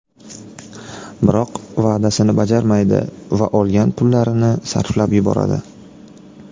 Biroq va’dasini bajarmaydi va olgan pullarini sarflab yuboradi.